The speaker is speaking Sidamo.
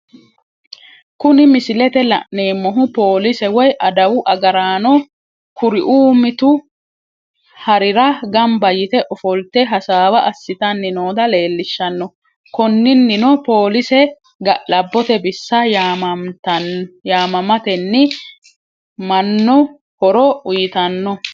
Kuni misilete la'neemohu, Polise woyi adawu agaraano, kuriu mitu harirra gamba yite offolite hasaawa asitanni nootta leelliishano, koninino polise ga'labote bissa yaamamatenni mano horo uyitanno